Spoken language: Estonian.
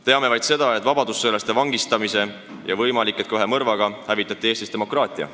Teame vaid seda, et vabadussõjalaste vangistamise ja võimalik et ka ühe mõrvaga hävitati Eestis demokraatia.